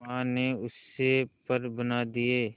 मां ने उससे पर बना दिए